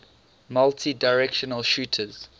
multidirectional shooters